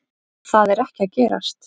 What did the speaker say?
Það er ekki að gerast.